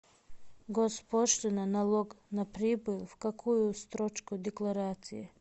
госпошлина налог на прибыль в какую строчку декларации